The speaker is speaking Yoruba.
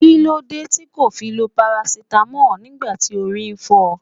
Kilode ti ko fi lo parasitamo nigba ti ori n fo?